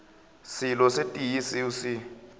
selo se tee seo se